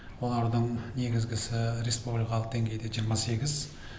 олардың негізгісі республикалық деңгейде жиырма сегіз